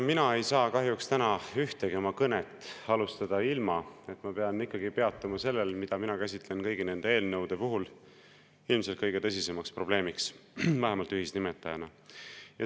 Mina ei saa kahjuks täna ühtegi oma kõnet alustada ilma, et ma peatuksin sellel, mida mina käsitlen kõigi nende eelnõude puhul ilmselt kõige tõsisema probleemina, vähemalt ühisnimetajana.